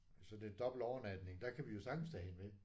Så det er dobbelt overnatning. Der kan vi jo sagtens tage hende med